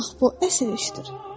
Bax bu əsl işdir.